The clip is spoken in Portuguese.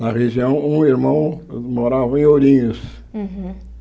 Na região, um irmão morava em Ourinhos. Uhum